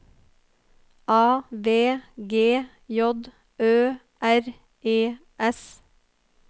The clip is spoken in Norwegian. A V G J Ø R E S